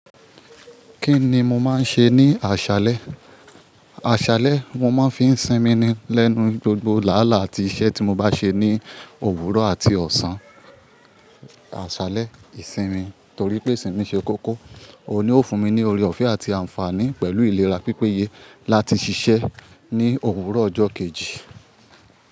Kí ni mo máa ń ṣe ní àṣálẹ́? Àṣálẹ́ mo máa ń fi ń sinmi lẹ́nu gbogbo làálà á ti iṣẹ́ tí mo bá ṣe ní òwúrọ̀ àti ọ̀sán. Àṣálẹ́ ìsinmi torí pé ìsinmi ṣe kókó òun ni ó fún mi ní oore-ọ̀fẹ́ àti àǹfààní pẹ̀lú ìlera pípéye láti ṣiṣẹ́ ní òwúrọ̀ ọjọ́ kejì.